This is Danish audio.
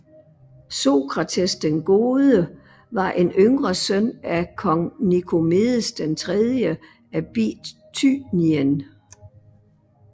Sokrates den Gode var en yngre søn af kong Nikomedes III af Bithynien